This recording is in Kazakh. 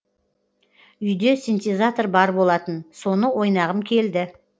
үйде синтезатор бар болатын соны ойнағым келді